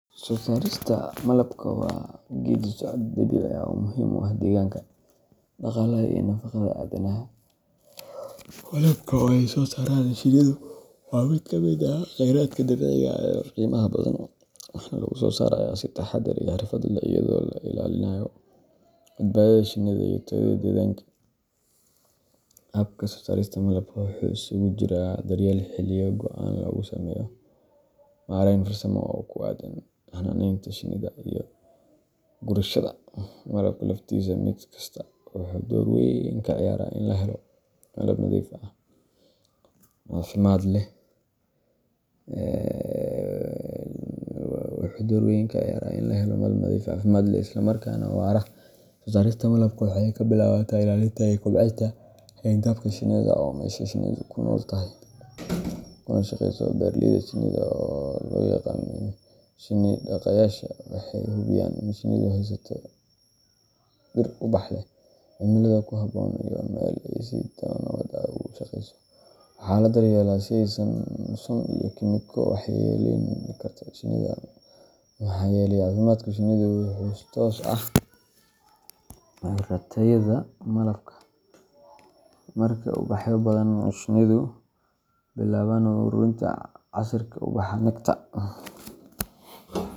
Soo saarista malabka waa geeddi-socod dabiici ah oo muhiim u ah deegaanka, dhaqaalaha, iyo nafaqada aadanaha. Malabka, oo ay soo saaraan shinnidu, waa mid ka mid ah khayraadka dabiiciga ah ee qiimaha badan, waxaana lagu soosaarayaa si taxaddar iyo xirfad leh iyadoo la ilaalinayo badbaadada shinnida iyo tayada deegaanka. Habka soosaarista malabka wuxuu isugu jiro daryeelka xilliyo go’an lagu sameeyo, maareyn farsamo oo ku aaddan xannaaneynta shinnida, iyo gurashada malabka laftiisa mid kastaa wuxuu door weyn ka ciyaaraa in la helo malab nadiif ah, caafimaad leh, isla markaana waara. Soosaarista malabka waxay ka bilaabataa ilaalinta iyo kobcinta xayndaabka shinnida, oo ah meesha shinnidu ku nool tahay kuna shaqeyso. Beeraleyda shinnida oo loo yaqaan shin-dhaqayaasha – waxay hubiyaan in shinnidu haysato dhir ubax leh, cimilada ku habboon, iyo meel ay si nabad ah ugu shaqeyso. Waxaa la daryeelaa in aysan jirin sun ama kiimiko waxyeelleyn karta shinnida, maxaa yeelay caafimaadka shinnidu wuxuu toos ula xiriiraa tayada malabka. Marka ubaxyo badan la helo, shinnidu waxay bilaabaan uruurinta casiirka ubaxa nectar.